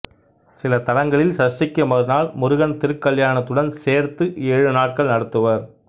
சில தலங்களில் சஷ்டிக்கு மறுநாள் முருகன் திருக்கல்யாணத்துடன் சேர்த்து ஏழு நாட்கள் நடத்துவர்